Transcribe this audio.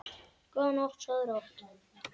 Góða nótt, sofðu rótt.